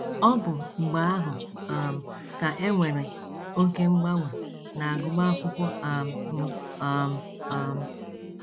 Ọ bụ mgbe ahụ um ka e nwere oké mgbanwe n’agụmakwụkwọ um m um um.